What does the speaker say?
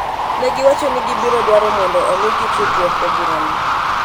Ne giwacho ni gibiro dwaro mondo omigi tudruok e burano.